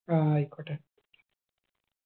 ആ ആയിക്കോട്ടെ